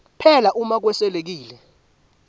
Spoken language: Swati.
phela uma kweswelekile